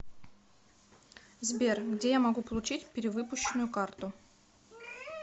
сбер где я могу получить перевыпущенную карту